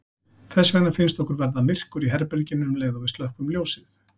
Þess vegna finnst okkur verða myrkur í herberginu um leið og við slökkvum ljósið.